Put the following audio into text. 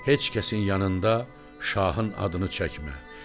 Heç kəsin yanında şahın adını çəkmə.